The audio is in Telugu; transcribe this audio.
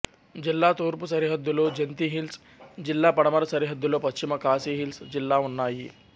జిల్లా తూర్పు సరిహద్దులో జంతీ హిల్స్ జిల్లా పడమర సరిహద్దులో పశ్చిమ ఖాసీ హిల్స్ జిల్లా ఉన్నాయి